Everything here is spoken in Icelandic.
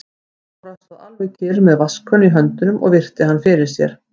Jóra stóð alveg kyrr með vatnskönnu í höndunum og virti hann fyrir sér.